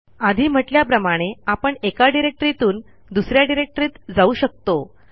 आधी म्हटल्याप्रमाणे आपण एका डिरेक्टरीतून दुस या डिरेक्टरीत जाऊ शकतो